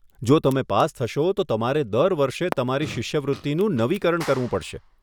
જો તમે પાસ થશો, તો તમારે દર વર્ષે તમારી શિષ્યવૃત્તિનું નવીકરણ કરવું પડશે.